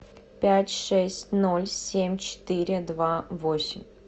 пять шесть ноль семь четыре два восемь